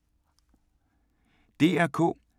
DR K